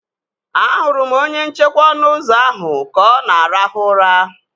Ahụrụ m onye nchekwa ọnụ ụzọ ahụ ka ọ na arahụ ụra